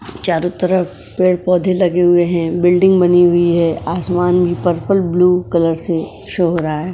चारों तरफ पेड़-पौधे लगे हुए हैं बिल्डिंग बनी हुई है आसमान भी पर्पल ब्लू कलर से शो हो रहा है।